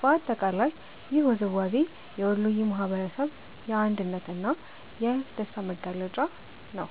በአጠቃላይ ይህ ውዝዋዜ የወሎየ ማህበረሰብ የአንድነት እና የደስታ መገለጫ ነው።